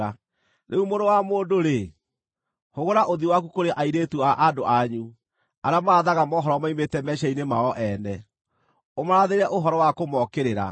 “Rĩu mũrũ wa mũndũ-rĩ, hũgũra ũthiũ waku kũrĩ airĩtu a andũ anyu arĩa marathaga mohoro moimĩte meciiria-inĩ mao ene, ũmarathĩre ũhoro wa kũmookĩrĩra,